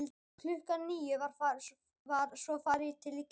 Klukkan níu var svo farið til kirkju.